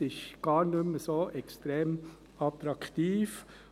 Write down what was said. Es ist gar nicht mehr so extrem attraktiv.